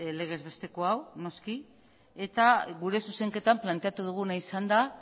legez besteko hau noski eta gure zuzenketak planteatu duguna izan da